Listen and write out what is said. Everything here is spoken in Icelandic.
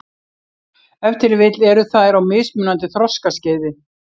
Ef til vill eru þær á mismunandi þroskaskeiði.